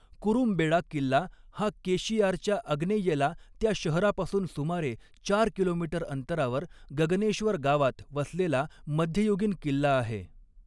कुरुमबेड़ा किल्ला हा केशियारच्या आग्नेयेला त्या शहरापासून सुमारे चार किलोमीटर अंतरावर गगनेश्वर गावात वसलेला मध्ययुगीन किल्ला आहे.